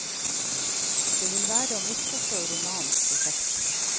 Det vil være å misforstå romanens prosjekt.